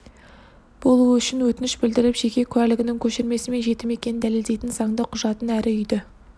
болуы үшін өтініш білдіріп жеке куәлігінің көшірмесі мен жетім екенін дәлелдейтін заңды құжатын әрі үйді